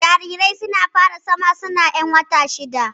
Jarirai suna fara zama suna ƴan wata shida